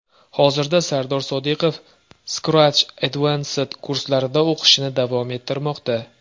Hozirda Sardor Sodiqov Scratch Advanced kurslarida o‘qishini davom ettirmoqda.